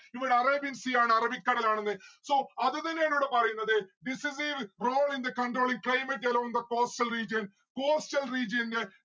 ഇവിടെ arabian sea ആണ്. അറബിക്കടലാണെന്ന്. so അത് തന്നെയാണ് ഇവിടെ പറയുന്നത്. this wave roll in the control in climate along the coastal region. coastal region ന്റെ